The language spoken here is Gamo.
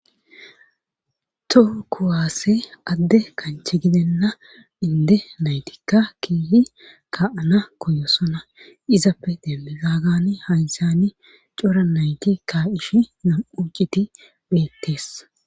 too kuwaasse adde kanche gidenna inde naytikka keehi ka7ana koyosona izappe demmizagani haysani cora nayti ka ish nam7u citi beettees